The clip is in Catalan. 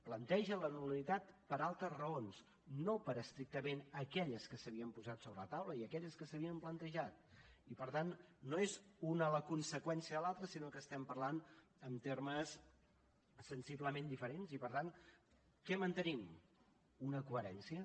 planteja la nul·litat per altres raons no per estrictament aquelles que s’havien posat sobre la taula i aquelles que s’havien plantejat i per tant no és una la conseqüència de l’altra sinó que estem parlant en termes sensiblement diferents i per tant què mantenim una coherència